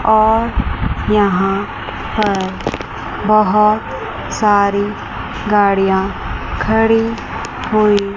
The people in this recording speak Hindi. और यहां पर बहोत सारी गाड़ियां खड़ी हुई--